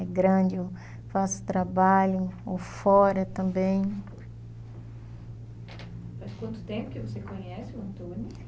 É grande, eu faço trabalho fora também. Faz quanto tempo que você conhece o Antônio?